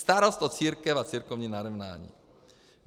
Starost o církev a církevní narovnání.